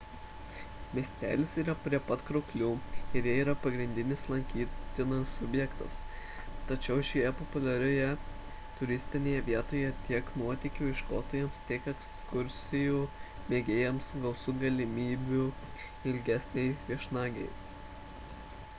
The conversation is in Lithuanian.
miestelis yra prie pat krioklių ir jie yra pagrindinis lankytinas objektas tačiau šioje populiarioje turistinėje vietoje tiek nuotykių ieškotojams tiek ekskursijų mėgėjams gausu galimybių ilgesnei viešnagei